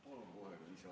Palun kohe lisaaega!